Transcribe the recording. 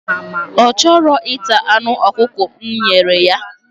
Ọ chọghị ịta anụ ọkụkọ m nyere ya.